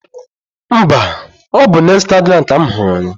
Mba, ọ bụ n'Ịstagram ka m hụrụ ya